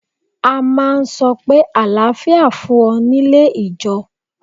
A máa ń sọ pé àlàáfíà fún ọ nílé ìjọe.